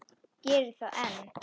Gerir það enn.